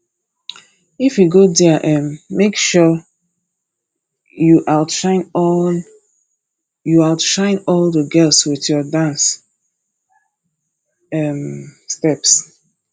if you go there um make sure you outshine all you outshine all the girls with your dance um steps